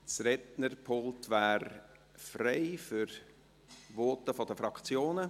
Das Rednerpult wäre frei für Voten der Fraktionen.